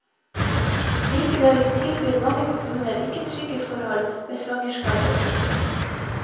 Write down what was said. Likevel tilbyr mange kommuner ikke trygge forhold ved svangerskap og fødsel.